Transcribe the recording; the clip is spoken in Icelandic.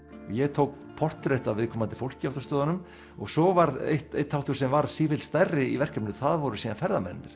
ég tók portrett af viðkomandi fólki á stöðunum svo var einn þáttur sem varð sífellt stærri í verkefninu það voru síðan ferðamennirnir